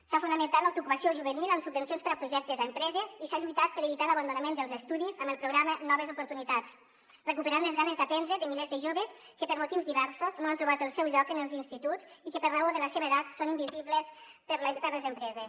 s’ha fomentat l’autoocupació juvenil amb subvencions per a projectes a empreses i s’ha lluitat per evitar l’abandonament dels estudis amb el programa noves oportu·nitats recuperant les ganes d’aprendre de milers de joves que per motius diversos no han trobat el seu lloc en els instituts i que per raó de la seva edat són invisibles per a les empreses